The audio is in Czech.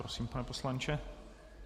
Prosím, pane poslanče.